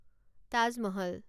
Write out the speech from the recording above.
Taj Mahal